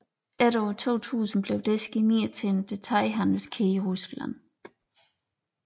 Efter år 2000 blev Desky Mir til en detailhandelskæde i Rusland